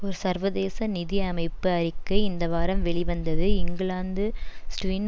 ஒர் சர்வதேச நிதி அமைப்பு அறிக்கை இந்த வாரம் வெளிவந்தது இங்கிலாந்து ஸ்ட்வின்